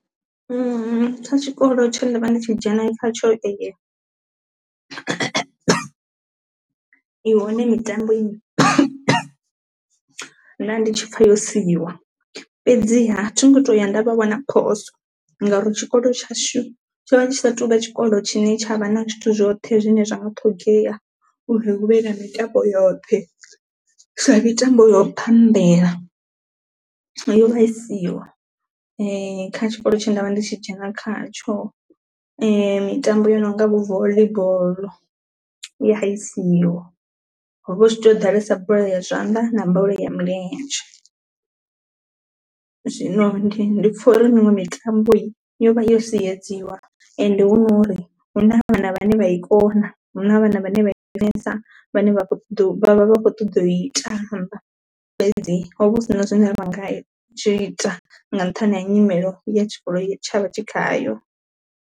Kha tshikolo tsho nda vha ndi tshi dzhena i hone mitambo nda ndi tshipfha yo siiwa, fhedziha thi ngo to ya nda vha wana phoso ngauri tshikolo tshashu tsho vha tshi sa tou vha tshikolo tshine tshavha na zwithu zwoṱhe zwine zwa nga ṱhogomela uri hu vhe na mitambo yoṱhe. Sa mitambo yo bambela yo vha i siho kha tshikolo tshe ndavha ndi tshi dzhena kha tsho, mitambo yo nonga vho volleyball ya i siho hovha hu tshi to ḓalesa bola ya zwanḓa na bola ya milenzhe. Zwino ndi pfha uri miṅwe mitambo yo vha ya sedziwa ende hu nori huna vhana vhane vha i kona huna vhana vhane vha i funesa vhane vha vha vha vha kho ṱoḓa u i tamba fhedzi ho vha hu si na zwine ra nga zwi ita nga nṱhani ha nyimelo ya tshikolo ye tshavha tshi khayo.